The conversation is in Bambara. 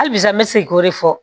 Hali bisan n bɛ segin k'o de fɔ